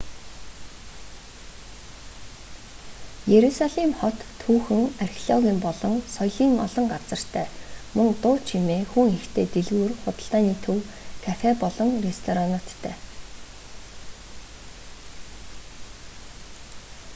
иерусалим хот түүхэн археологийн болон соёлын олон газартай мөн дуу чимээ хүн ихтэй дэлгүүр худалдааны төв кафе болон ресторануудтай